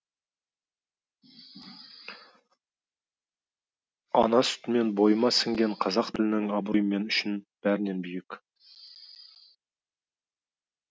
ана сүтімен бойыма сіңген қазақ тілінің абыройы мен үшін бәрінен биік